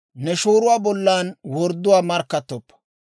«Ne shooruwaa bollan wordduwaa markkattoppa.